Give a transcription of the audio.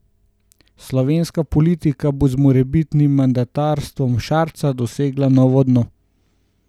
Slovenska politika pa bo z morebitnim mandatarstvom Šarca dosegla novo dno.